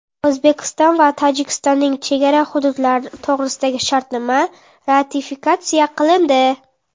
O‘zbekiston va Tojikistonning chegara hududlari to‘g‘risidagi shartnoma ratifikatsiya qilindi.